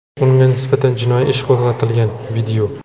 Unga nisbatan jinoiy ish qo‘zg‘atilgan.